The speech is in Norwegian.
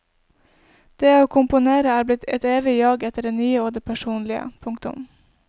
Det å komponere er blitt et evig jag etter det nye og det personlige. punktum